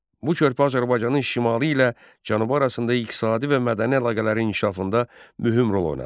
Bu körpü Azərbaycanın şimalı ilə cənubu arasında iqtisadi və mədəni əlaqələrin inkişafında mühüm rol oynadı.